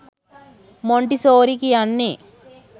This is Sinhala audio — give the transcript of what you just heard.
මොන්ටිසෝරි කියන්නේ.